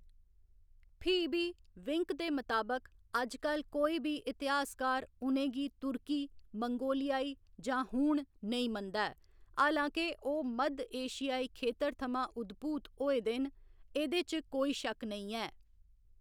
फ्ही बी, विंक दे मताबक, अजकल कोई बी इतिहासकार उ'नें गी तुर्की मंगोलियाई जां हूण नेईं मनदा ऐ, हालां के ओह्‌‌ मद्ध एशियाई खेतर थमां उद्भूत होए दे न, एह्‌‌‌दे च कोई शक्क नेईं ऐ।